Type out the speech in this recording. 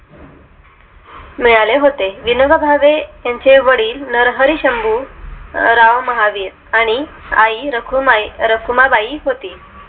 मिळाले होते विनोबा भावे यांचे वडील नरहर शंभू राव महावीर आणि आई रखुमाई रखुमाई होती